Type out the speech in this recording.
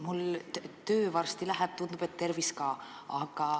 Mul töö varsti läheb, tundub, et tervis ka.